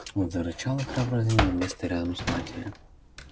он зарычал и храбро занял место рядом с матерью